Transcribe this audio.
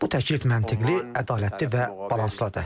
Bu təklif məntiqli, ədalətli və balanslıdır.